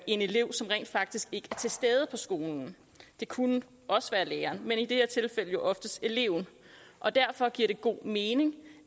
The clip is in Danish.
elev som rent faktisk ikke er til stede på skolen det kunne også være læreren men i det her tilfælde er oftest eleven derfor giver det god mening